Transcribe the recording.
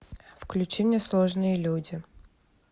включи мне сложные люди